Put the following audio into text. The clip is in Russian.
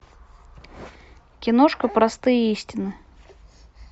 киношка простые истины